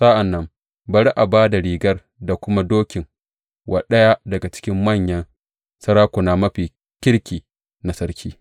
Sa’an nan, bari a ba da rigar da kuma dokin wa ɗaya daga cikin manyan sarakuna mafi kirki na sarki.